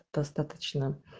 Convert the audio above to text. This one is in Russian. достаточно